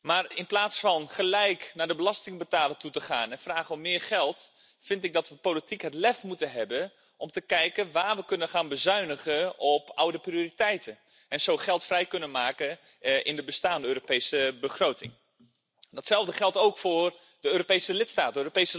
Maar in plaats van gelijk naar de belastingbetaler toe te gaan en te vragen om meer geld, vind ik dat we politiek het lef moeten hebben om te kijken waar we kunnen gaan bezuinigen op oude prioriteiten en zo geld vrij kunnen maken in de bestaande Europese begroting. Datzelfde geldt ook voor de Europese lidstaten.